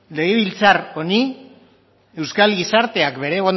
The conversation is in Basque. legebiltzar honi euskal gizarteak bere